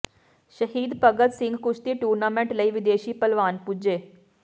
ਸ਼ਹੀਦ ਭਗਤ ਸਿੰਘ ਕੁਸ਼ਤੀ ਟੂਰਨਾਮੈਂਟ ਲਈ ਵਿਦੇਸ਼ੀ ਭਲਵਾਨ ਪੁੱਜੇ